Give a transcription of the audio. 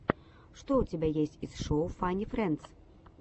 что у тебя есть из шоу фанни френдс